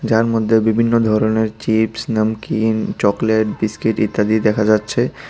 যার মধ্যে বিভিন্ন ধরণের চিপস নামকিন চকলেট বিস্কিট ইত্যাদি দেখা যাচ্ছে।